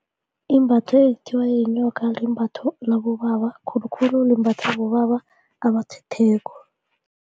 Imbatho ekuthiwa yinyoka limbatho labobaba khulukhulu limbathwa bobaba abathetheko.